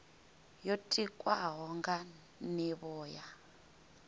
yo tikwaho nga nivho ya